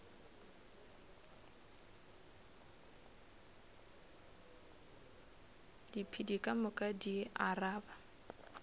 diphedi ka moka di araba